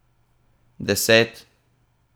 Deset?